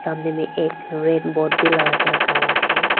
सामने में एक रेड बोर्ड भी लगा के रखा हुआ है।